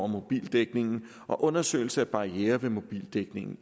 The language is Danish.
mobildækningen og undersøgelser af barrierer ved mobildækningen